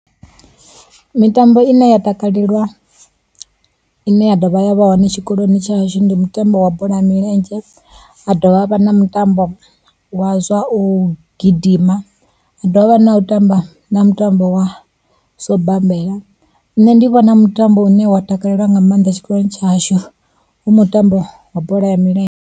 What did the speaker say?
Mitambo i ne ya takalelwa, ine ya dovha ya vha hone tshikoloni tshashu ndi mutambo wa bola ya milenzhe, ha dovha ha vha na mutambo wa zwa u gidima, ha dovha havha na u tamba na mutambo wa zwa u bammbela. Nṋe ndi vhona mutambo une wa takalelwa nga mannḓa tshikoloni tshashu hu mutambo wa bola ya milenzhe.